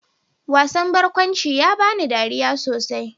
Wasan barkwanci ya bani dariya sosai.